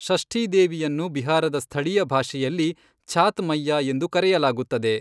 ಷಷ್ಠೀ ದೇವಿಯನ್ನು ಬಿಹಾರದ ಸ್ಥಳೀಯ ಭಾಷೆಯಲ್ಲಿ ಛಾತ್ ಮೈಯಾ ಎಂದು ಕರೆಯಲಾಗುತ್ತದೆ.